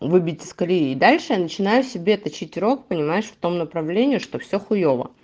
выбить из колеи дальше начинаю себе это точить рог понимаешь в том направлении что все хуйово